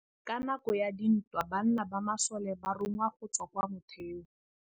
Ka nakô ya dintwa banna ba masole ba rongwa go tswa kwa mothêô.